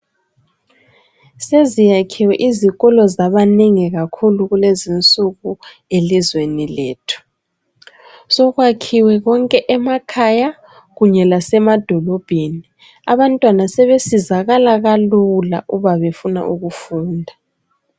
Seziyakhiwe izikolo zabaningi kakhulu kulezi insuku elizweni lethu sokwakhiwe konke emakhaya kunye lasemadolobheni abantwana sebesizakala kalula uba befuna ukufunda .